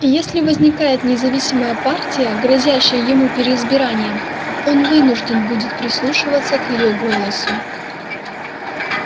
и если возникает независимая партия грозящая ему переизбранием он вынужден будет прислушиваться к её голосу